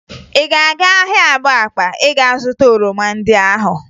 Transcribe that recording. Ị ga-aga ahịa Abakpa ịga zụta oroma ndị ahụ?